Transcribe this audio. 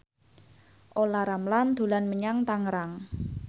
Olla Ramlan dolan menyang Tangerang